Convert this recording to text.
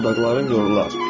dodaqların yorular.